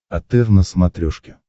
отр на смотрешке